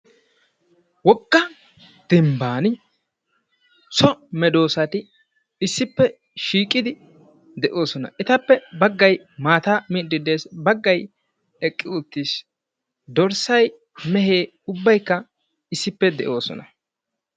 Wogga dembban soo meedoosati issippe shiiqidi de'oosona; etappe baggay maataa miide des; baggay eqqi uttiis; dorssay, mehee ubbaykka issippe de'oosona.